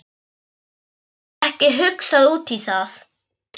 Hafði ekki hugsað út í það.